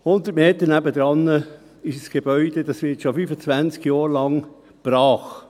100 Meter daneben steht ein Gebäude, das schon 25 Jahre lang brachliegt.